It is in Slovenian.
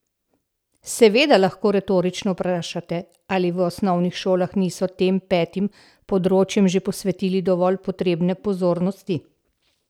Seveda lahko retorično vprašate, ali v osnovnih šolah niso tem petim področjem že posvetili dovolj potrebne pozornosti?